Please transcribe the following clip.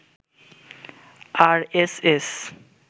RSS